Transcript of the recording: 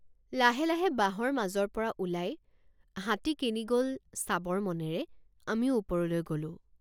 লাহে লাহে বাঁহৰ মাজৰপৰা ওলাই হাতী কেনি গল চাবৰ মনেৰে আমিও ওপৰলৈ গলোঁ।